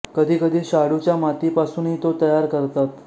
कधी कधी शाडूच्या माती पासूनही तो तयार करतात